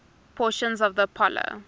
portions of the apollo